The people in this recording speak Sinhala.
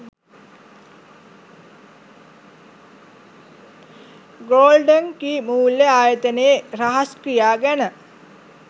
ගෝල්ඩන් කී මුල්‍ය ආයතනයේ රහස් ක්‍රියා ගැන